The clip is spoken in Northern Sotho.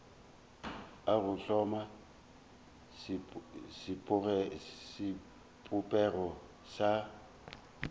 a go hloma sebopego sa